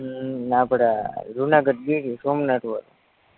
હમ આપણા જૂનાગઢ ગીર સોમનાથવારુ